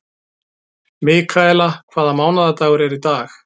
Mikaela, hvaða mánaðardagur er í dag?